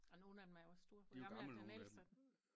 Ah nogle af dem er jo også store hvor gamle er den ældste af dem?